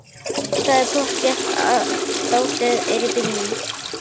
Það er pottþétt að dótið er í bílnum!